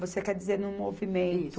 Você quer dizer no movimento?